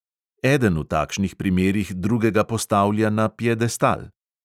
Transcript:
Eden v takšnih primerih drugega postavlja na piedestal.